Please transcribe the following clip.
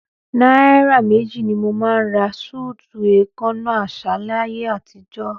Náírà méjì ni mo máa ń ra súùtì èèkánná àṣà láyé àtijọ́.